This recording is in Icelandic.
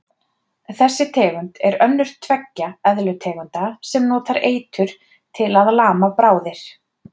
Þessi tegund er önnur tveggja eðlutegunda sem notar eitur til að lama bráðir.